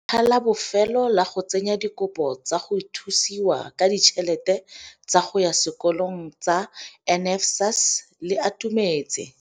Letlha la bofelo la go tsenya dikopo tsa go thusiwa ka ditšhelete tsa go ya sekolong tsa NSFAS le atumetse.